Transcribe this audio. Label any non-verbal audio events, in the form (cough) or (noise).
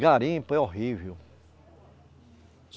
Garimpo é horrível. (unintelligible)